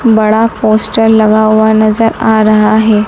बड़ा पोस्टर लगा हुआ नजर आ रहा है।